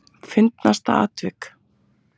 Fyndnasta atvik?